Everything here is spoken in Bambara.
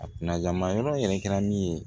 A kunna ma yɔrɔ yɛrɛ kɛra min ye